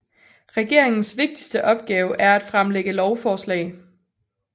Regeringens vigtigste opgave er at fremlægge lovforslag